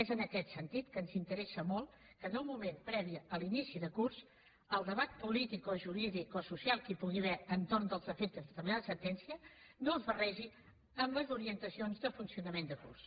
és en aquest sentit que ens interessa molt que en un moment previ a l’inici de curs el debat polític o jurídic o social que hi pugui haver entorn dels efectes de determinades sentències no es barregi amb les orientacions de funcionament de curs